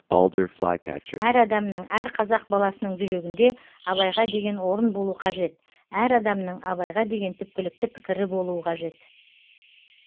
әр адамның әр қазақ баласының жүрегіңде абайға деген орын болу қажет әр адамның абайға деген түпкілікті пікірі болу қажет